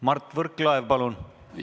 Mart Võrklaev, palun!